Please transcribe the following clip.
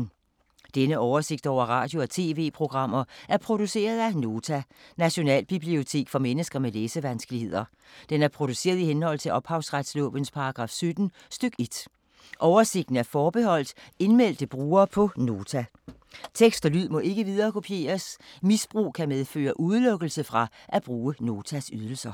Denne oversigt over radio og TV-programmer er produceret af Nota, Nationalbibliotek for mennesker med læsevanskeligheder. Den er produceret i henhold til ophavsretslovens paragraf 17 stk. 1. Oversigten er forbeholdt indmeldte brugere på Nota. Tekst og lyd må ikke viderekopieres. Misbrug kan medføre udelukkelse fra at bruge Notas ydelser.